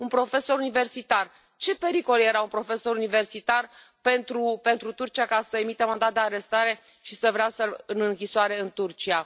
Un profesor universitar, ce pericol era profesorul universitar pentru Turcia, ca să emită mandat de arestare și să vrea să l trimită în închisoare în Turcia?